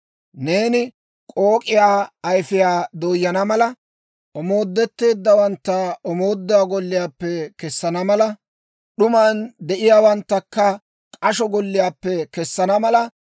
Neeni k'ook'iyaa ayfiyaa dooyana mala, omoodetteeddawantta omooduwaa golliyaappe kessana mala, d'uman de'iyaawanttakka k'asho golliyaappe kessana mala,